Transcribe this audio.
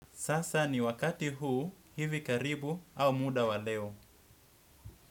Sasa ni wakati huu hivi karibu au muda wa leo.